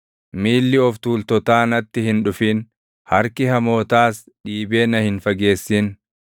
Miilli of tuultotaa natti hin dhufin; harki hamootaas dhiibee na hin fageessin.